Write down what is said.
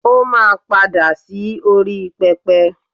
o ma pada sí orí pẹpẹ